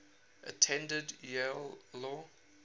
attended yale law